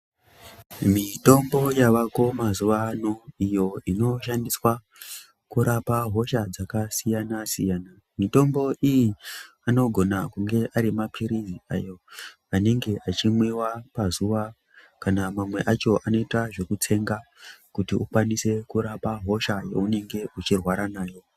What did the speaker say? Mitombo yavako mazuva ano, iyo inoshandiswa kurapa hosha dzakasiyana-siyana. Mitombo iyi anogona kunge ari maphirizi anenge achimwiwa pazuwa kana mamwe acho anoita zvekutsenga kuti ukwanise kurapa hosha yeunenge uchirwara nayo.